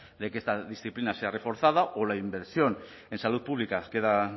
de que esta disciplina sea reforzada o la inversión en salud pública queda